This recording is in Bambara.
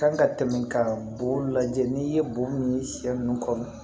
Kan ka tɛmɛ ka bon lajɛ n'i ye bo min ye sɛ ninnu kɔnɔ